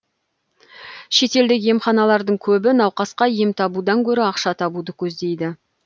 шетелдік емханалардың көбі науқасқа ем табудан гөрі ақша табуды көздейді